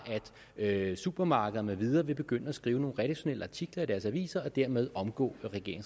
at supermarkeder med videre vil begynde at skrive nogle redaktionelle artikler i deres aviser og dermed omgå